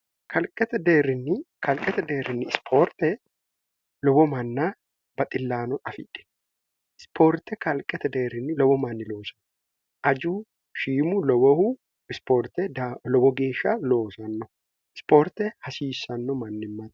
kalqete deerrinni ispoorte lowo manna baxillaano afidhi ispoorte kalqete deerrinni lowo manni loosanno aju shiimu wohu ispoorte lowo geeshsha loosanno ispoorte hasiissanno mannimma